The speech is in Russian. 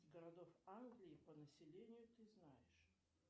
городов англии по населению ты знаешь